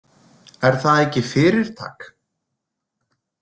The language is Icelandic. Er það ekki fyrirtak?